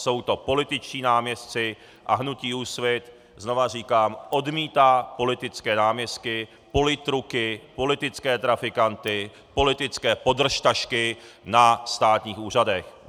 Jsou to političtí náměstci a hnutí Úsvit, znovu říkám, odmítá politické náměstky, politruky, politické trafikanty, politické podržtašky na státních úřadech.